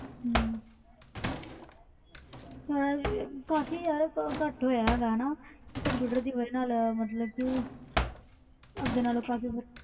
ਕਾਫੀ ਘਟ ਹੋਇਆ ਯਾਰ ਕਿ computer ਦੀ ਵਜ੍ਹਾ ਨਾਲ ਕਾਫੀ ਫਰਕ